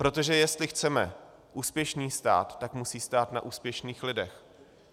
Protože jestli chceme úspěšný stát, tak musí stát na úspěšných lidech.